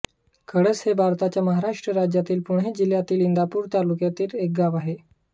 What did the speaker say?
कळस हे भारताच्या महाराष्ट्र राज्यातील पुणे जिल्ह्यातील इंदापूर तालुक्यातील एक गाव आहे